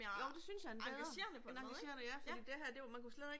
Jo det synes jeg en bedre en engagerende ja